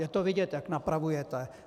Je to vidět, jak napravujete.